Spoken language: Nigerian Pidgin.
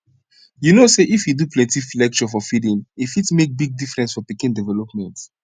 u no say if you do plenti lecture for feeding e fit make big difference for pikin development